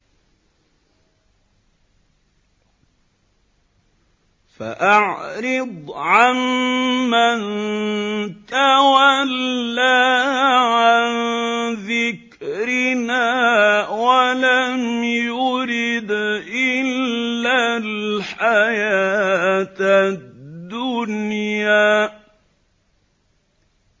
فَأَعْرِضْ عَن مَّن تَوَلَّىٰ عَن ذِكْرِنَا وَلَمْ يُرِدْ إِلَّا الْحَيَاةَ الدُّنْيَا